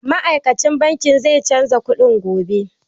Ma'aikacin bankin zai canza kuɗin gobe.